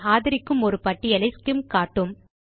தான் ஆதரிக்கும் ஒரு பட்டியலை ஸ்சிம் காட்டும்